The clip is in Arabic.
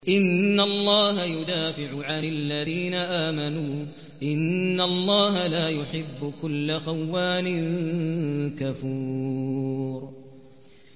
۞ إِنَّ اللَّهَ يُدَافِعُ عَنِ الَّذِينَ آمَنُوا ۗ إِنَّ اللَّهَ لَا يُحِبُّ كُلَّ خَوَّانٍ كَفُورٍ